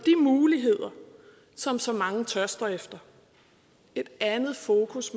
muligheder som så mange tørster efter et andet fokus